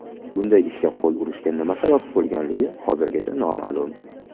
Bunday ishga qo‘l urishga nima sabab bo‘lganligi hozircha noma’lum.